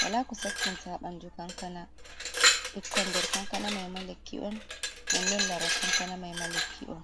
wala ko sakkinta ha banndu kankana, ɓikkon nder kankana mai ma lekki'on non non laral kankana mai ma lekki'on.